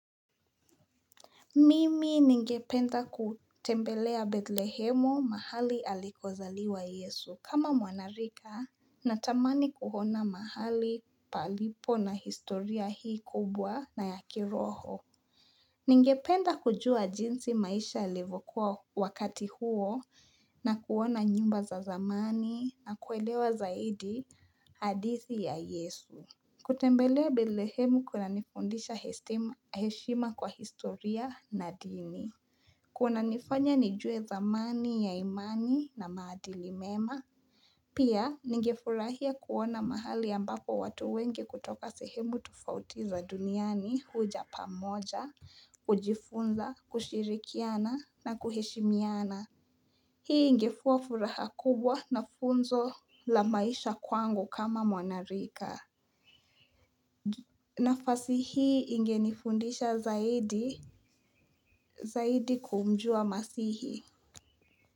Mimi ningependa kutembelea Bethlehemu mahali alikozaliwa Yesu kama mwanarika na tamani kuona mahali palipo na historia hii kubwa na yaki roho. Ningependa kujua jinsi maisha yalivyokuwa wakati huo na kuona nyumba za zamani na kuelewa zaidi hadithi ya Yesu. Kutembelea bethlehemu kuna nifundisha heshima kwa historia na dini. Kuna nifanya nijue zamani ya imani na maadili mema. Pia nigefurahia kuona mahali ambapo watu wenge kutoka sehemu tufaoti za duniani huja pamoja, kujifunza, kushirikiana na kuheshimiana. Hii ingekuabfuraha kubwa na funzo la maisha kwangu kama mwanarika. Nafasi hii ingenifundisha zaidi zaidi kumjua masihi.